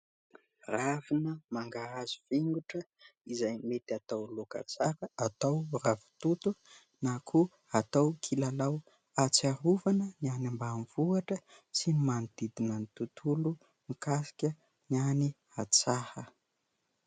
Ravina mangahazo fingotra izay mety atao laoka tsara. Atao ravitoto na koa atao kilalao; ahatsiarovana ny any ambanivohitra sy ny manodidina ny tontolo mikasika ny any an-tsaha.